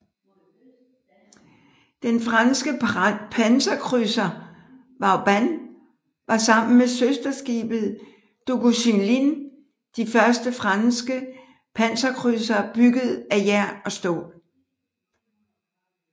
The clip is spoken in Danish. Den franske panserkrydser Vauban var sammen med søsterskibet Duguesclin de første franske panserkrydsere bygget af jern og stål